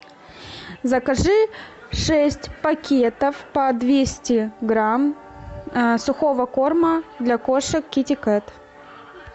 закажи шесть пакетов по двести грамм сухого корма для кошек китикет